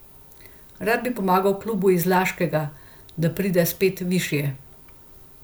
Rad bi pomagal klubu iz Laškega, da pride spet višje.